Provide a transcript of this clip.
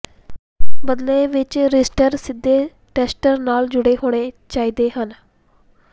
ਬਦਲੇ ਵਿਚ ਰਿਸਟਰਰ ਸਿੱਧੇ ਟੈੱਸਟਰ ਨਾਲ ਜੁੜੇ ਹੋਣੇ ਚਾਹੀਦੇ ਹਨ